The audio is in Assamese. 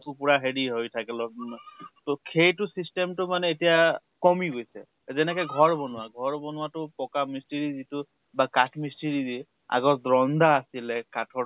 উখোৰা হেৰি হৈ থাকে অলপ, খেইটো system তো মানে এতিয়া কমি গৈছে । এ যেনেকে ঘৰ বনোৱা, ঘৰ বনোৱা তো পকা মিষ্ট্ৰি যিটো বা কাঠ মিষ্ট্ৰি যি । আগত ৰন্দাহ আছিলে কাঠৰ